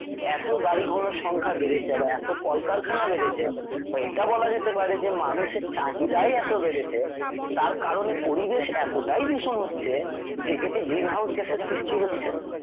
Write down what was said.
এত গাড়ি ঘোড়ার সংখ্যা বেড়েছে বা এত কলকারখানা বেড়েছে বা এটা বলা যেতে পারে যে মানুষের চাহিদাই এত বেড়েছে তার কারণে পরিবেশ এতটাই দূষণ হচ্ছে যে এতে গ্রিন হাউজ গ্যাসের সৃষ্টি হচ্ছে।